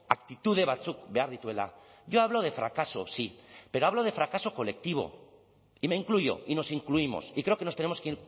aktitude batzuk behar dituela yo hablo de fracaso sí pero hablo de fracaso colectivo y me incluyo y nos incluimos y creo que nos tenemos que